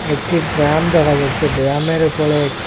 একটি ড্রাম দেখা যাচ্ছে ড্রামের উপরে--